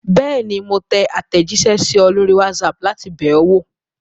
Bẹ́ẹ̀ni, mo tẹ àtẹ̀jíṣẹ́ sí ọ lórí WhatsApp láti bẹ̀ ọ́ wò.